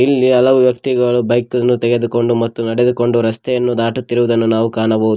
ಇಲ್ಲಿ ಹಲವು ವ್ಯಕ್ತಿಗಳು ಬೈಕ್ ಅನ್ನು ತೆಗೆದುಕೊಂಡು ಮತ್ತು ನಡೆದುಕೊಂಡು ರಸ್ತೆಯನ್ನು ದಾಟುತ್ತಿರುವುದನ್ನು ನಾವು ಕಾಣಬಹುದು.